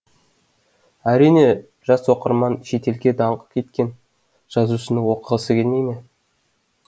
әрине жас оқырман шетелге даңқы кеткен жазушыны оқығысы келмей ме